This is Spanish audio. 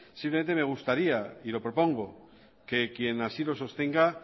simplemente me gustaría y lo propongo que quien así lo sostenga